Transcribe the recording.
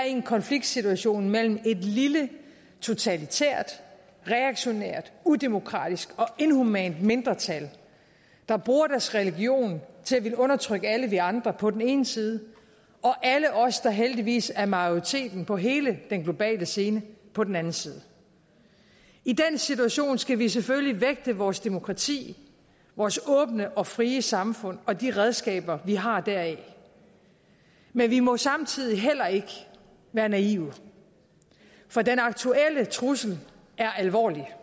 en konfliktsituation mellem et lille totalitært reaktionært udemokratisk og inhumant mindretal der bruger deres religion til at ville undertrykke alle os andre på den ene side og alle os der heldigvis er majoriteten på hele den globale scene på den anden side i den situation skal vi selvfølgelig vægte vores demokrati vores åbne og frie samfund og de redskaber vi har deraf men vi må samtidig heller ikke være naive for den aktuelle trussel er alvorlig